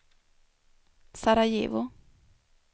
Sarajevo